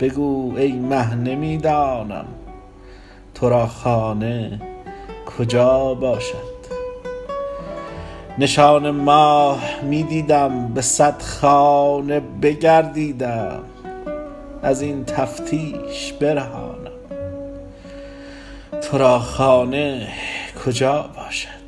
بگو ای مه نمی دانم تو را خانه کجا باشد نشان ماه می دیدم به صد خانه بگردیدم از این تفتیش برهانم تو را خانه کجا باشد